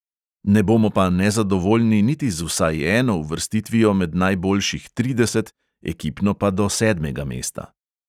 Ne bomo pa nezadovoljni niti z vsaj eno uvrstitvijo med najboljših trideset, ekipno pa do sedmega mesta.